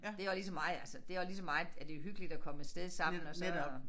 Det også lige så meget altså det også lige så meget at det hyggeligt at komme af sted sammen og så